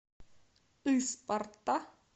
ыспарта